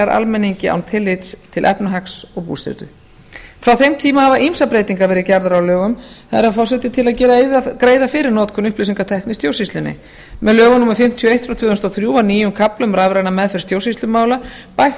almenningi án tillits til efnahags og búsetu frá þeim tíma hafa ýmsar breytingar verið gerðar á lögum herra forseti til að greiða fyrir notkun upplýsingatækni í stjórnsýslunni með lögum númer fimmtíu og eitt tvö þúsund og þrjú var nýjum kafla um rafræna meðferð stjórnsýslumála bætt